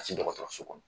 Ka se dɔgɔtɔrɔso kɔnɔ